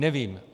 Nevím.